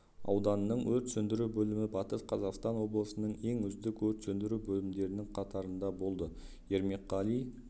ауданының өрт сөндіру бөлімі батыс қазақстан облысының ең үздік өрт сөндіру бөлімдерінің қатарында болды ермекқали